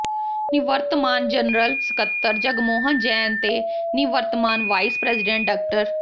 ਨਿਵਰਤਮਾਨ general ਸਕੱਤਰ ਜਗਮੋਹਨ ਜੈਨ ਤੇ ਨਿਵਰਤਮਾਨ ਵਾਈਸ ਪ੍ਰੈਜ਼ੀਡੈਂਟ ਡਾ